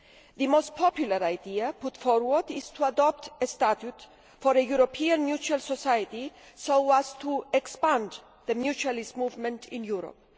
The most popular idea put forward is to adopt a statute for a European mutual society, so as to expand the mutualist movement in Europe.